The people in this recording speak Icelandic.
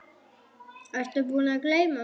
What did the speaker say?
Ertu búinn að gleyma mig?